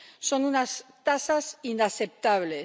Son unas tasas inaceptables.